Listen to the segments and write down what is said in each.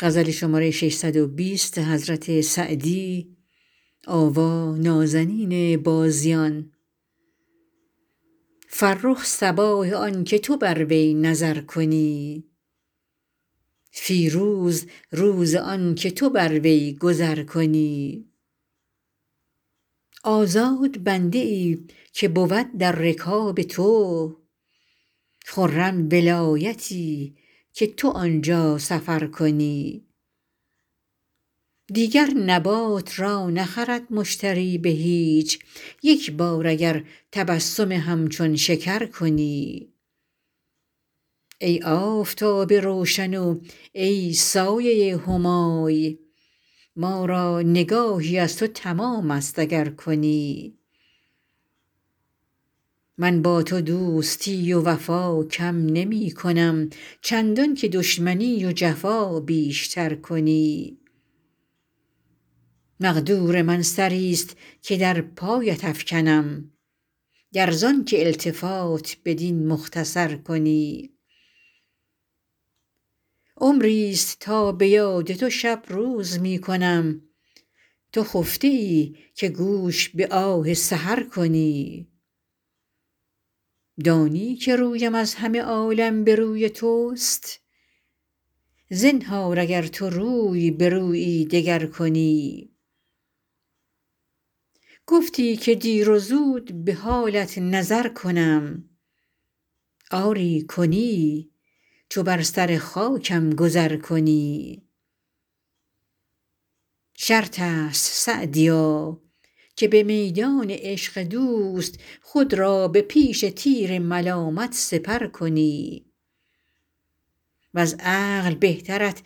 فرخ صباح آن که تو بر وی نظر کنی فیروز روز آن که تو بر وی گذر کنی آزاد بنده ای که بود در رکاب تو خرم ولایتی که تو آن جا سفر کنی دیگر نبات را نخرد مشتری به هیچ یک بار اگر تبسم همچون شکر کنی ای آفتاب روشن و ای سایه همای ما را نگاهی از تو تمام است اگر کنی من با تو دوستی و وفا کم نمی کنم چندان که دشمنی و جفا بیش تر کنی مقدور من سری ست که در پایت افکنم گر زآن که التفات بدین مختصر کنی عمری ست تا به یاد تو شب روز می کنم تو خفته ای که گوش به آه سحر کنی دانی که رویم از همه عالم به روی توست زنهار اگر تو روی به رویی دگر کنی گفتی که دیر و زود به حالت نظر کنم آری کنی چو بر سر خاکم گذر کنی شرط است سعدیا که به میدان عشق دوست خود را به پیش تیر ملامت سپر کنی وز عقل بهترت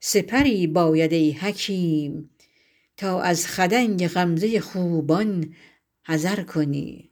سپری باید ای حکیم تا از خدنگ غمزه خوبان حذر کنی